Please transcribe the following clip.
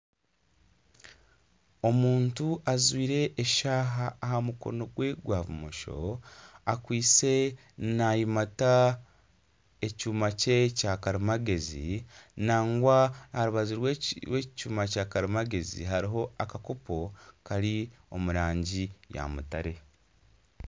omuntu ajwire eshaaha aha mukono gwe gwa bumosho akwise naayimata ekyoma kye kyakarimagyezi nangwa aha rubaju rw'aha kyoma kya karimagyezi hariho akakopo kari omu rangi ya mutare